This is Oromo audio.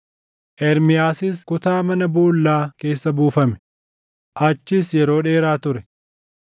Ermiyaasis kutaa mana boollaa keessa buufame; achis yeroo dheeraa ture.